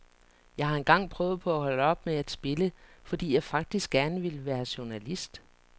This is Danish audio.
Jeg har engang prøvet på at holde op med at spille, fordi jeg faktisk gerne ville være journalist.